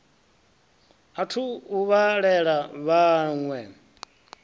a thu u vhalela vhaṋwe